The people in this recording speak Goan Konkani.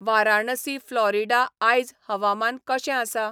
वाराणसी फ्लॉरिडा आयज हवामान कशें आसा ?